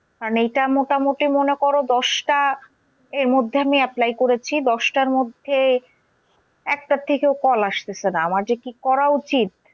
কারণ এইটা মোটামুটি মনে করো দশটা এর মধ্যে আমি apply করেছি, দশটার মধ্যে একটা থেকেও call আসতেসে না। আমার যে কি করা উচিৎ